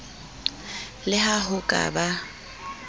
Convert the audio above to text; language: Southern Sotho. le ha ho ka ba